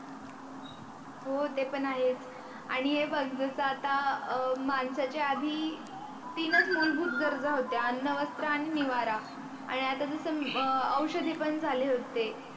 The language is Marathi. हो ते पण आहेच आणि हे बग जस आता माणसाच्या आधी तीनच मूलभूत गरजा होत्या अन्न, वस्त्र, आणि निवारा, आणि आता जस औषधी पण झाले होते.